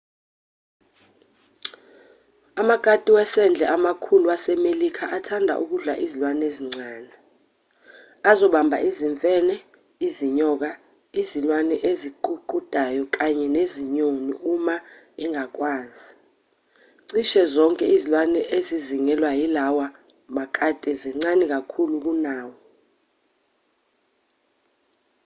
amakati wasendle amakhulu wasemelika athanda ukudla izilwane ezincane azobamba izimfene izinyoka izilwane eziququdayo kanye nezinyoni uma angakwazi cishe zonke izilwane ezizingelwa yilawa makati zincane kakhulu kunawo